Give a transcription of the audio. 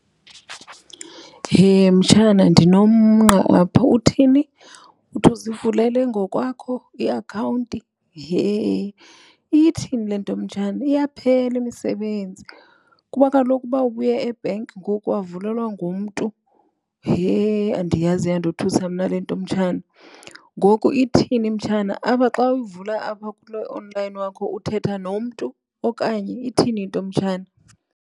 Hee, mtshana, ndinomngqa apha. Uthini? Uthi uzivulele ngokwakho iakhawunti? Hee, ithini le nto, mtshana? Iyaphela imisebenzi kuba kaloku uba ubuye ebhenki ngoku wavulelwa ngumntu. Hee andiyazi. Iyandothusa mna le nto, mtshana. Ngoku ithini mtshana? Apha xa uvula apha kulo onlayini wakho uthetha nomntu okanye ithini into, mtshana?